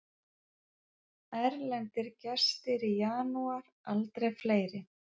Erlendir gestir í janúar aldrei fleiri